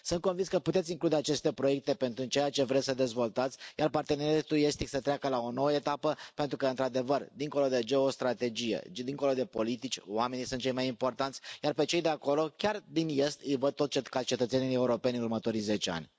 Sunt convins că puteți include aceste proiecte pentru ceea ce vreți să dezvoltați, iar parteneriatul estic să treacă la o nouă etapă, pentru că într adevăr dincolo de geostrategie, dincolo de politici, oamenii sunt cei mai importanți, iar pe cei de acolo, chiar din est, îi văd tot ca cetățeni europeni în următorii zece ani.